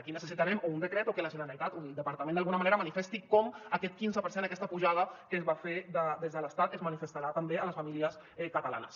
i necessitarem o un decret o que la generalitat o el departament d’alguna manera manifesti com aquest quinze per cent aquesta pujada que es va fer des de l’estat es manifestarà també a les famílies catalanes